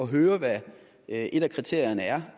høre hvad et af kriterierne er